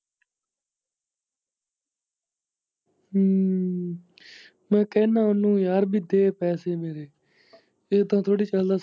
ਹਮ ਮੈਂ ਕਹਿੰਨਾ ਉਨੂੰ ਯਾਰ ਵੀ ਦੇ ਪੈਸੇ ਮੇਰੇ ਏਦਾ ਥੋੜੀ ਚੱਲਦਾ।